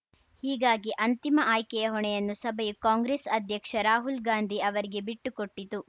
ಹೀಗಾಗಿ ಅಂತಿಮ ಆಯ್ಕೆಯ ಹೊಣೆಯನ್ನು ಸಭೆಯು ಕಾಂಗ್ರೆಸ್‌ ಅಧ್ಯಕ್ಷ ರಾಹುಲ್‌ ಗಾಂಧಿ ಅವರಿಗೆ ಬಿಟ್ಟುಕೊಟ್ಟಿತು